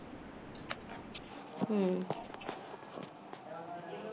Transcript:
हम्म